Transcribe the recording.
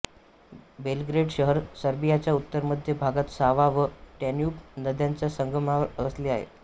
Belgrade शहर सर्बियाच्या उत्तरमध्य भागात सावा व डॅन्यूब नद्यांच्या संगमावर वसले आहे